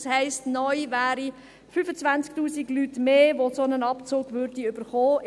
Das heisst, neu wären es 25 000 Menschen mehr, die einen solchen Abzug erhalten würden.